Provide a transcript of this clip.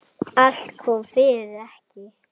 En hvað um þig?